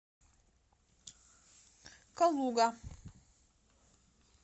калуга